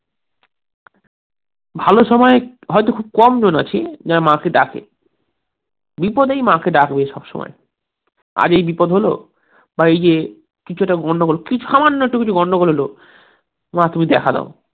ভালো সময়ে হয়তো খুব কমজন আছি যারা মাকে ডাকে, বিপদেই মাকে ডাকবে সব সময় আজ এই বিপদ হলো, বা এই যে কিছু একটা গন্ডগোল, বা সামান্য কিছু একটা গন্ডগোল হলো, মা তুমি দেখা দাও